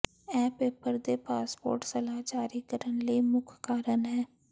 ਇਹ ਪੇਪਰ ਦੇ ਪਾਸਪੋਰਟ ਮਲਾਹ ਜਾਰੀ ਕਰਨ ਲਈ ਮੁੱਖ ਕਾਰਨ ਹੈ